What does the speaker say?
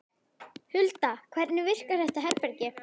Hulda, hvernig virkar þetta herbergi?